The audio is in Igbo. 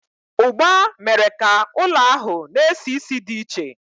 ugba was the food spice that filled the house with a strange smell